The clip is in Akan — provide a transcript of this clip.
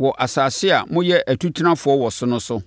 wɔ asase a moyɛ atutenafoɔ wɔ so no so.’